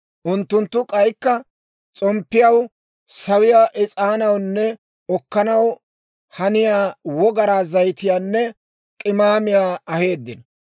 Unttunttu k'aykka s'omppiyaw, sawiyaa is'aanawunne okanaw haniyaa wogaraa zayitiyaanne k'imaamiyaa aheeddino.